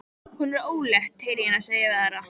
Hún er ólétt, heyri ég hana segja við aðra.